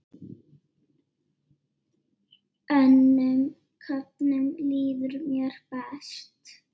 Önnum köfnum líður mér best.